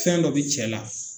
Fɛn dɔ be cɛ la